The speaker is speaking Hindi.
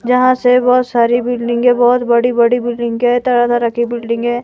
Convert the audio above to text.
यहां से बहुत सारी बिल्डिंग है बहुत बड़ी बड़ी बिल्डिंग है तरह तरह की बिल्डिंग है।